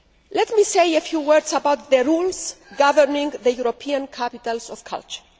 Let me say a few words about the rules governing the European capitals of culture.